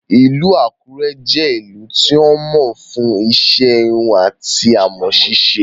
Ìlú Àkúrẹ́ jẹ́ ìlú tí wọ́n mọ̀ fún iṣẹ́ híhun ati amọ̀ sisé